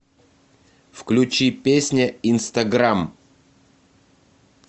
включи песня инстаграм